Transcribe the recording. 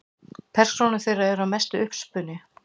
Persónur þeirra eru að mestu uppspuni.